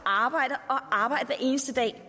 arbejde og arbejde hver eneste dag